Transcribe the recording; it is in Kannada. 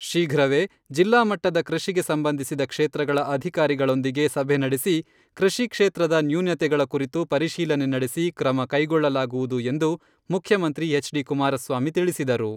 ಶೀಘ್ರವೇ ಜಿಲ್ಲಾಮಟ್ಟದ ಕೃಷಿಗೆ ಸಂಬಂಧಿಸಿದ ಕ್ಷೇತ್ರಗಳ ಅಧಿಕಾರಿಗಳೊಂದಿಗೆ ಸಭೆ ನಡೆಸಿ, ಕೃಷಿ ಕ್ಷೇತ್ರದ ನ್ಯೂನತೆಗಳ ಕುರಿತು ಪರಿಶೀಲನೆ ನಡೆಸಿ ಕ್ರಮ ಕೈಗೊಳ್ಳಲಾಗುವುದು ಎಂದು ಮುಖ್ಯಮಂತ್ರಿ ಎಚ್.ಡಿ.ಕುಮಾರಸ್ವಾಮಿ ತಿಳಿಸಿದರು.